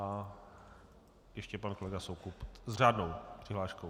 A ještě pan kolega Soukup s řádnou přihláškou.